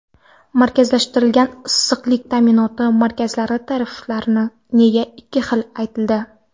Markazlashtirilgan issiqlik ta’minoti xizmatlari tariflari nega ikki xil aytildi?.